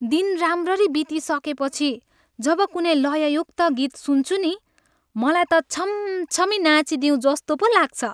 दिन राम्ररी बितिसकेपछि जब कुनै लययुक्त गीत सुन्छु नि, मलाई त छमछमी नाँचिदिऊँ जस्तो पो लाग्छ।